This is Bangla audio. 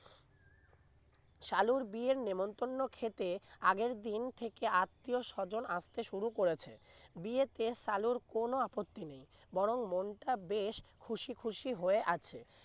সালুর বিয়ের নেমন্তন্ন খেতে আগের দিন থেকে আত্মীয়-স্বজন আসতে শুরু করেছে বিয়েতে সালুর কোন আপত্তি নেই বরং মনটা বেশ খুশি খুশি হয়ে আছে